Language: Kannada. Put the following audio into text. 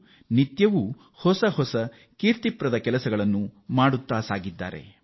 ಅವರು ಒಂದರ ಮೇಲೆ ಒಂದು ದಾಖಲೆ ಮಾಡುತ್ತಲೇ ಇದ್ದಾರೆ